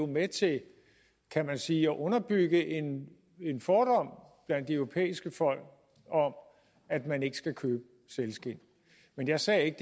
med til kan man sige at underbygge en fordom blandt de europæiske folk om at man ikke skal købe sælskind men jeg sagde ikke